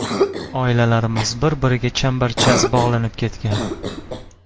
Oilalarimiz bir-biriga chambarchas bog‘lanib ketgan.